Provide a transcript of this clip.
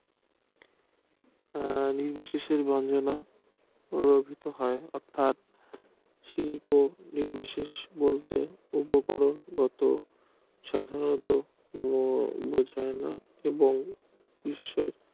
নির্বিশেষে মার্জনা প্রভাবিত হয় অর্থাৎ শিল্প নির্বিশেষ বলতে উপকরণ গত সাধারণত